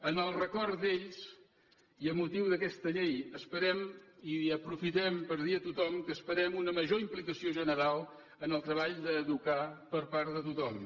en el record d’ells i amb motiu d’aquesta llei aprofitem per dir a tothom que esperem una major implicació general en el treball d’educar per part de tothom